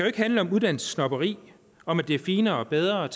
ikke handle om uddannelsessnobberi om at det er finere og bedre at